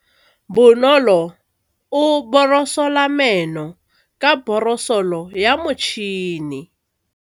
Bonolô o borosola meno ka borosolo ya motšhine.